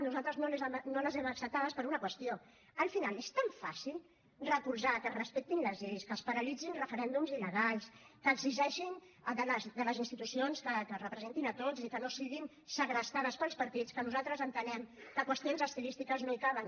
nosaltres no les hem acceptades per una qüestió al final és tan fàcil recolzar que es respectin les lleis que es paralitzin referèndums il·legals que exigeixin a les institucions que ens representin a tots i que no siguin segrestades pels partits que nosaltres entenem que qüestions estilístiques no hi caben